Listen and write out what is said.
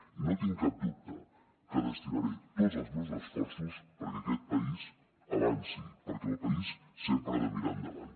i no tinc cap dubte que destinaré tots els meus esforços perquè aquest país avanci perquè el país sempre ha de mirar endavant